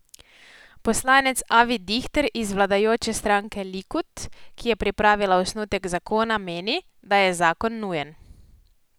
Poslanec Avi Dihter iz vladajoče stranke Likud, ki je pripravila osnutek zakona meni, da je zakon nujen.